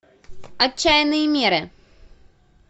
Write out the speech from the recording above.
отчаянные меры